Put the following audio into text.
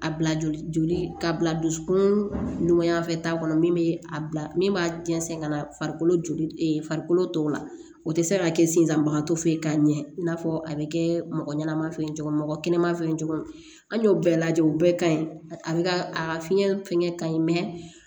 A bila joli ka bila dusukun ɲuman fɛ ta kɔnɔ min bɛ a bila min b'a jɛnsɛn ka na farikolo tɔw la o tɛ se ka kɛ senzanbagatɔ fe ye k'a ɲɛ i n'a fɔ a bɛ kɛ mɔgɔ ɲɛnama fɛ cogo min mɔgɔ kɛnɛma fɛ cogo min an y'o bɛɛ lajɛ o bɛɛ ka ɲi a bɛ ka a fiɲɛ fɛn ka ɲi mɛ